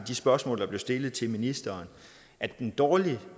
de spørgsmål der blev stillet til ministeren at den dårlige